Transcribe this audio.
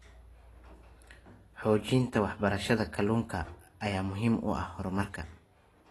Xoojinta waxbarashada kaluunka ayaa muhiim u ah horumarka.